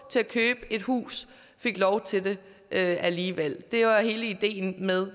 til at købe et hus fik lov til det det alligevel det var hele ideen med